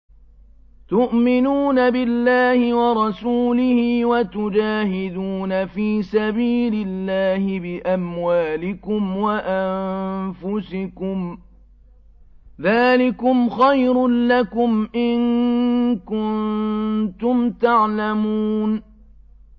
تُؤْمِنُونَ بِاللَّهِ وَرَسُولِهِ وَتُجَاهِدُونَ فِي سَبِيلِ اللَّهِ بِأَمْوَالِكُمْ وَأَنفُسِكُمْ ۚ ذَٰلِكُمْ خَيْرٌ لَّكُمْ إِن كُنتُمْ تَعْلَمُونَ